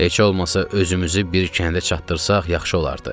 Heç olmasa özümüzü bir kəndə çatdırsaq yaxşı olardı.